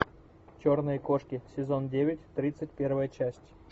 черные кошки сезон девять тридцать первая часть